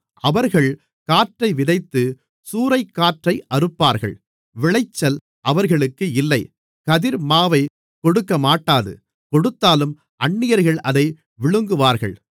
அவர்கள் காற்றை விதைத்து சூறைக்காற்றை அறுப்பார்கள் விளைச்சல் அவர்களுக்கு இல்லை கதிர் மாவைக் கொடுக்கமாட்டாது கொடுத்தாலும் அந்நியர்கள் அதை விழுங்குவார்கள்